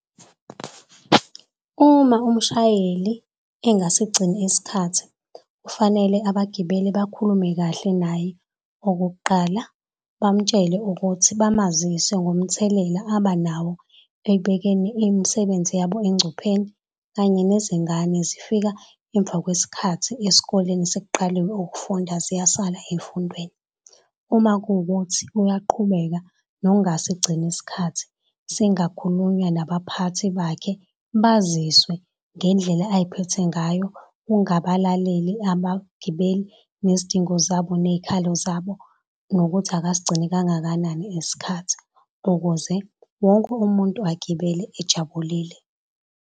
Uma umshayeli engasigcini isikhathi kufanele abagibeli bakhulume kahle naye. Okokuqala bamutshele ukuthi bamazisi ngomthelela abanawo ekbekene imisebenzi yabo engcupheni kanye nezingane zifika emva kwesikhathi esikoleni sekuqaliwe ukufunda ziyasala ezifundweni. Uma kuwukuthi uyaqhubeka nokungasigcini isikhathi singakhuluma nabaphathi bakhe baziswe ngendlela aziphethe ngayo ukungabalaleli abagibeli nezidingo zabo nezikhalo zabo nokuthi akasigcini kangakanani isikhathi ukuze wonke umuntu agibele ejabulile.